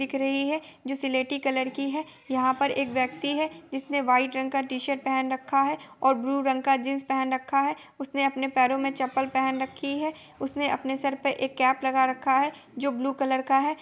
दिख रही है जो सिलेटी कलर की है| यहाँ पर एक व्यक्ति है जिसने व्हाइट रंग की टी-शर्ट पेहन रखा है और ब्लू रंग की जिन्स पेहन रखा है| उसने अपने पैरों मे चप्पल पेहेन रखी है| उसने सर पे एक केप लगा रखा है जो ब्लू कलर का है।